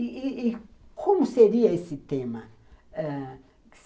E como seria esse tema? ãh